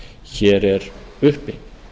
hér er uppi